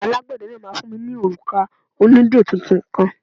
Alágbẹ̀dẹ náà máa fún mi ní òrùka onídẹ tuntun kan.